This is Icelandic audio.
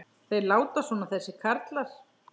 Þeir láta svona þessir karlar.